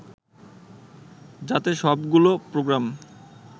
যাতে সবগুলো প্রোগ্রাম